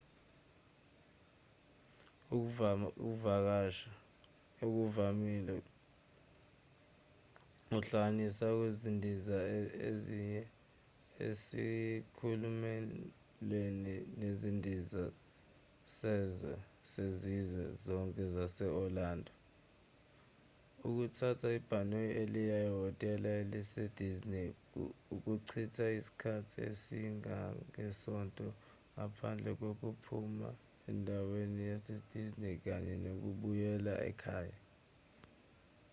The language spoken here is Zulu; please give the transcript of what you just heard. ukuvakasha okuvamile kuhlanganisa ukundiza uye esikhumulweni sezindiza sezizwe zonke sase-orlando ukuthatha ibhasi eliya ehhotela elise-disney ukuchitha isikhathi esingangesonto ngaphandle kokuphuma endaweni yase-disney kanye nokubuyela ekhaya